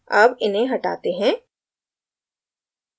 अब इन्हें हटाते हैं